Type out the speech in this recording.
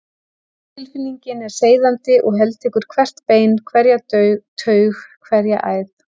Tilfinningin er seiðandi og heltekur hvert bein, hverja taug, hverja æð.